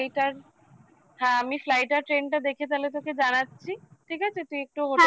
হ্যাঁ আমি flight আর train টা দেখে তাহলে তোকে জানাচ্ছি ঠিক আছে তুই একটু